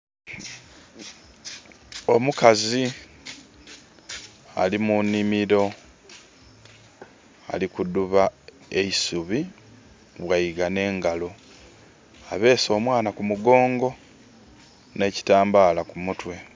Omukazi ali mu nhimiro. Ali kudhuba eisubi, bwaigha n'engalo. Abeese omwana ku mugongo, n'ekitambaala ku mutwe.